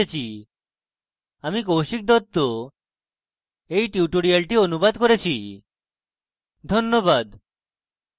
আমরা tutorial শেষে চলে এসেছি আমি কৌশিক দত্ত we tutorial অনুবাদ করেছি ধন্যবাদ